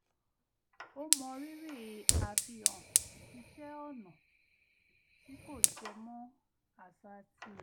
ó mọrírì àfihàn iṣẹ́ ọnà tí kò jẹ mọ́ àṣà tirẹ̀